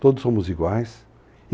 Todos somos iguais.